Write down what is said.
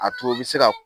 A to u bi se ka